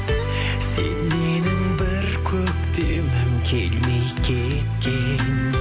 сен менің бір көктемім келмей кеткен